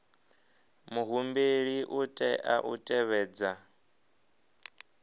muhumbeli u tea u tevhedza